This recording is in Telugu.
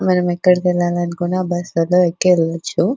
మనం ఎక్కడికి వెళ్ళాలి అనుకున్న బస్సు లలో ఎక్కి వెల్ల వచ్చు.